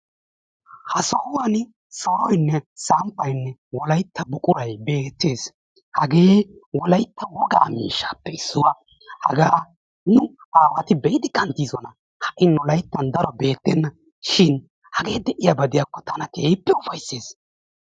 Ha sohuwwani soroynne samppaynne wolaytta buqurati beetees. hagee wolaytta wogaa miishshaappe issuwa. haga nu aawati be'idi kantidosona. shin hagee de'iyaaba gidiyaakko tana keehi ufaysseess.